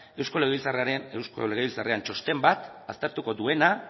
eusko legebiltzarrean txosten bat aztertuko duena